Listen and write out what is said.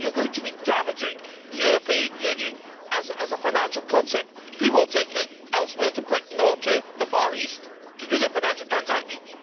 You are going to be damaging the European Union as a financial concept. People will go elsewhere, to Britain or to the Far East, to do their financial transactions.